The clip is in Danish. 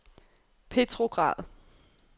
Petrograd